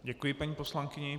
Děkuji paní poslankyni.